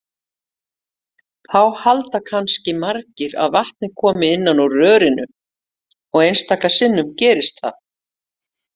Þá halda kannski margir að vatnið komi innan úr rörinu og einstaka sinnum gerist það!